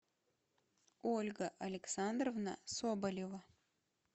ольга александровна соболева